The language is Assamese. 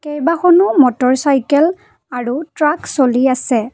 কেইবাখনো মটৰচাইকেল আৰু ট্ৰাক চলি আছে।